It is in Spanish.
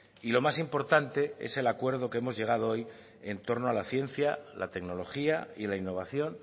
y lo más importante es el acuerdo que hemos llegado hoy en torno a la ciencia la tecnología y la innovación